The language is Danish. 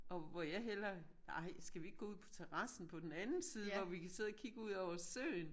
Og hvor jeg hellere ej skal vi ikke gå ud på terassen på den anden side hvor vi kan sidde og kigge ud over søen?